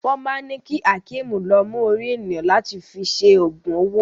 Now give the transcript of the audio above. Wọ́n ma ni ki Hakeem lọ mú orí ènìyàn láti fi ṣe ogun owó.